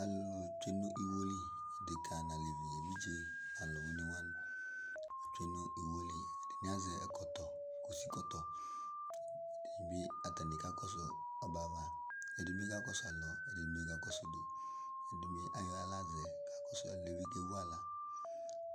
Alʋ tsue nʋ iwo li, adeka nʋ alɛvi, evidze nʋ alʋwini wani atsue nʋ iwo yɛ li Ɛdini azɛ ɛkɔtɔ, kusi kɔtɔ Ɛdini bi, atani kakɔsʋ ɔbɛ yɛ ava Ɛdini bi kakɔsʋ alɔ, ɛdini bi kakɔsʋ udu Ɛdini ayɔ aɣla zɛ kakɔsʋ, ɛdini bi kevu aɣla